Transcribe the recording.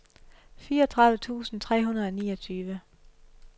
fireogtredive tusind tre hundrede og niogtyve